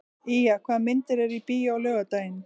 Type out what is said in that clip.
Ýja, hvaða myndir eru í bíó á laugardaginn?